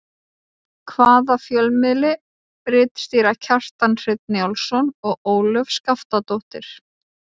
Hvaða fjölmiðli ritstýra Kjartan Hreinn Njálsson og Ólöf Skaftadóttir?